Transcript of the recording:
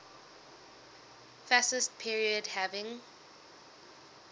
fascist period having